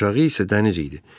Aşağı isə dəniz idi.